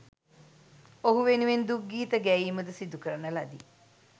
ඔහු වෙනුවෙන් දුක්ගීත ගැයීම ද සිදු කරන ලදී.